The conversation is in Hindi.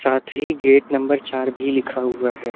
साथ ही गेट नंबर चार भी लिखा हुआ है।